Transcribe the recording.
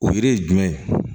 O yiri ye jumɛn ye